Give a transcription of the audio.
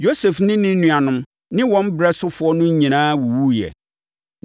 Yosef ne ne nuanom ne wɔn ɛberɛ sofoɔ no nyinaa wuwuiɛ,